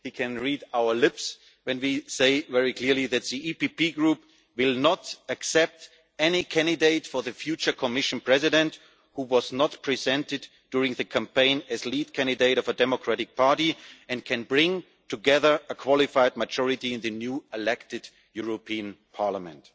He can read our lips when we say very clearly that the EPP Group will not accept a candidate for Commission President who was not presented during the campaign as lead candidate of a democratic party and cannot bring together a qualified majority in the newly-elected European Parliament.